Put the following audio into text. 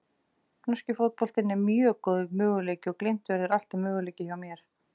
Norski fótboltinn er mjög góður möguleiki og Glimt verður alltaf möguleiki hjá mér.